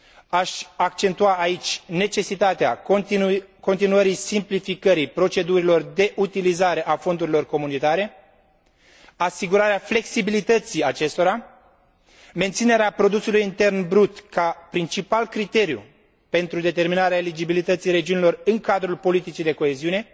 Aș accentua aici necesitatea continuării simplificării procedurilor de utilizare a fondurilor comunitare, asigurarea flexibilității acestora, menținerea produsului intern brut ca principal criteriu pentru determinarea eligibilității regiunilor în cadrul politicii de coeziune